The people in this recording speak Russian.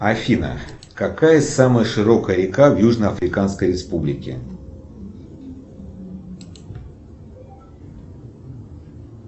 афина какая самая широкая река в южноафриканской республике